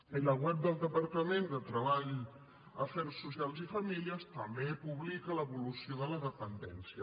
i la web del departament de treball afers socials i famílies també publica l’evolució de la dependència